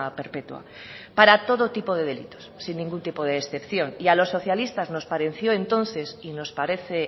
perpetua para todo tipo de delitos sin ningún tipo de excepción y a los socialistas nos pareció entonces y nos parece